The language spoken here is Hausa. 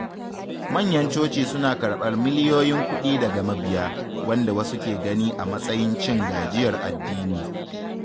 Manyan coci suna karɓar miliyoyin kuɗi daga mabiya, wanda wasu ke gani a matsayin cin gajiyar addini.